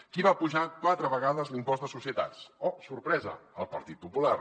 qui va apujar quatre vegades l’impost de societats oh sorpresa el partit popular